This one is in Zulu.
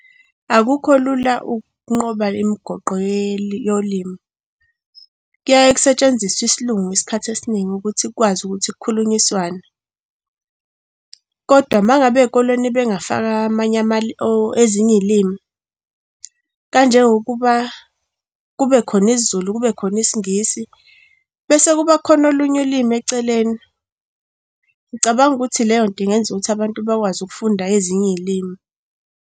Akukho lula ukunqoba imgoqo yolimi. Kuyaye kusetshenziswe isiLungu isikhathi esiningi ukuthi kwazi ukuthi khulunyiswane, kodwa uma ngabe ey'koleni bengafaka amanye ezinye iy'limi, kanjengokuba kube khona isiZulu, kube khona isiNgisi. Bese kuba kukhona olunye ulimi eceleni. Ngicabanga ukuthi leyonto ingenzeka ukuthi abantu bakwazi ukufunda ezinye iy'limi.